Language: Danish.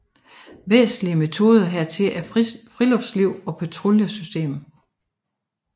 Væsentlige metoder hertil er friluftsliv og patruljesystemet